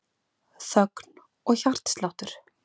Þögn og hjartsláttur.